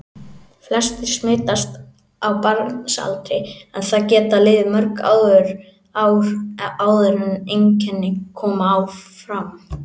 Flestir smitast á barnsaldri en það geta liðið mörg ár áður en einkenni koma fram.